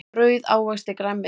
Brauð ávexti grænmeti.